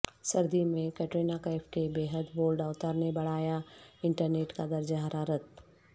سردی میں کٹرینہ کیف کے بیحد بولڈ اوتار نے بڑھایا انٹرنیٹ کا درجہ حرارت